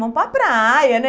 Vão para a praia, né?